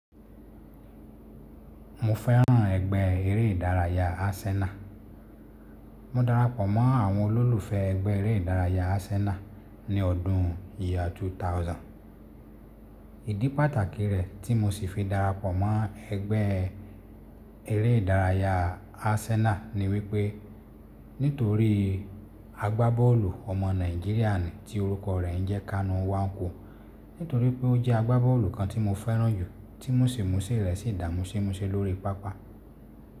Mo fẹ́ràn ẹgbẹ́ eré ìdárayá Arsenal. Mo darapọ̀ mọ́ àwọn olólùfẹ́ ẹgbẹ́ eré ìdárayá Arsenal ní ọdún ìyá 2000. Ìdí pàtàkì rẹ̀ tí mo sì fi darapọ̀ mọ́ ẹgbẹ́ eré ìdárayá Arsenal ni wípé nítorí agbábọ́ọ̀lù ọmọ Nàìjíríà ni tí orúkọ rẹ̀ ń jẹ́ Kanu Nwankwo. Nítorí pé ó jẹ́ agbábọ́ọ̀lù kan tí mo fẹ́ràn jù, tí múṣìmúṣí rẹ̀ sì dà múṣìmúṣí lórí pápá.